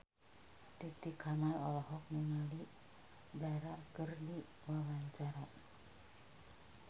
Titi Kamal olohok ningali Dara keur diwawancara